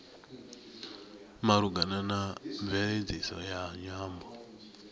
malugana na mveledziso ya nyambo